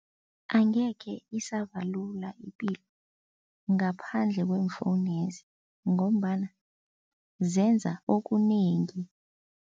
Angekhe isaba lula ipilo ngaphandle kweemfowunezi ngombana zenza okunengi.